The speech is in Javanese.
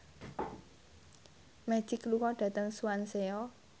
Magic lunga dhateng Swansea